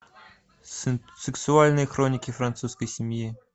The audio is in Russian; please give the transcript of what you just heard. сексуальные хроники французской семьи